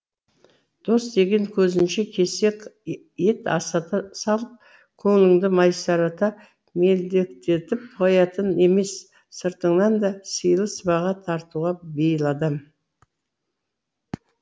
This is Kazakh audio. дос деген көзіңше кесек ет асата салып көңіліңді масайрата мелдектетіп қоятын емес сыртыңнан да сыйлы сыбаға тартуға бейіл адам